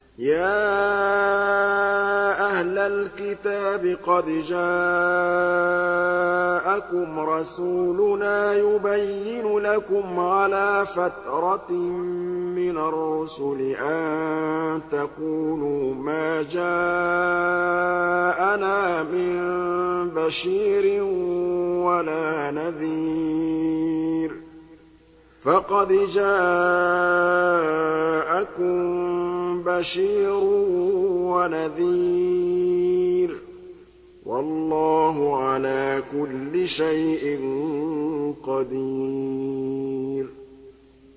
يَا أَهْلَ الْكِتَابِ قَدْ جَاءَكُمْ رَسُولُنَا يُبَيِّنُ لَكُمْ عَلَىٰ فَتْرَةٍ مِّنَ الرُّسُلِ أَن تَقُولُوا مَا جَاءَنَا مِن بَشِيرٍ وَلَا نَذِيرٍ ۖ فَقَدْ جَاءَكُم بَشِيرٌ وَنَذِيرٌ ۗ وَاللَّهُ عَلَىٰ كُلِّ شَيْءٍ قَدِيرٌ